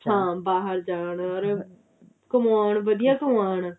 ਹਾਂ ਬਾਹਰ ਜਾਣ ਕਮਾਉਣ ਵਧੀਆ ਕਮਾਉਣ